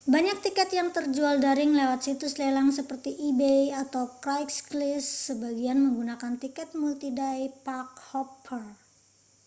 banyak tiket yang terjual daring lewat situs lelang seperti ebay atau craigslist sebagian menggunakan tiket multi-day-park-hopper